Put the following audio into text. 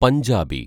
Punjabi